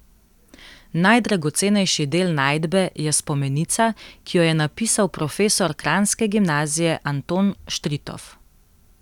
Najdragocenejši del najdbe je spomenica, ki jo je napisal profesor kranjske gimnazije Anton Štritof.